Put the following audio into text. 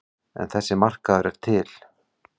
En þessi markaður er til.